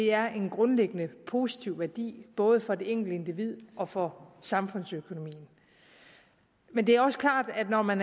er en grundlæggende positiv værdi både for det enkelte individ og for samfundsøkonomien men det er også klart at når man